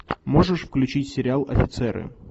можешь включить сериал офицеры